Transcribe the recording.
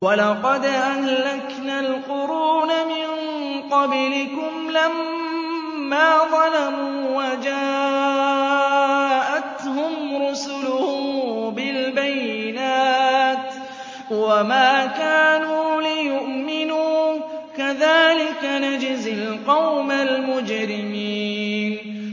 وَلَقَدْ أَهْلَكْنَا الْقُرُونَ مِن قَبْلِكُمْ لَمَّا ظَلَمُوا ۙ وَجَاءَتْهُمْ رُسُلُهُم بِالْبَيِّنَاتِ وَمَا كَانُوا لِيُؤْمِنُوا ۚ كَذَٰلِكَ نَجْزِي الْقَوْمَ الْمُجْرِمِينَ